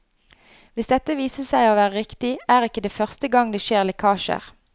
Hvis dette viser seg å være riktig, er ikke det første gang det skjer lekkasjer.